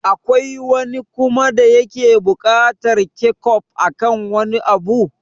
Akwai wani kuma da yake buƙatar kechof akan wani abu?